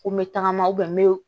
Ko n bɛ tagama n bɛ